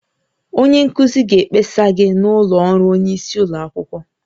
Onye nkuzi ga-ekpesa gị n'ụlọ ọrụ onye isi ụlọ akwụkwọ